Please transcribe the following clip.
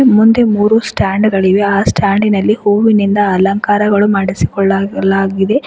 ಮುಂದೆ ಮೂರು ಸ್ಟ್ಯಾಂಡ್ ಗಳಿವೆ ಆ ಸ್ಟ್ಯಾಂಡಿನಲ್ಲಿ ಹೂವಿನಿಂದ ಅಲಂಕಾರಗಳು ಮಾಡಿಸಿಕೊಳ್ಳ ಲಾ ಲಾಗಿದೆ.